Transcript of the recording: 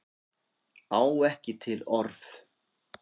Á ekki til orð.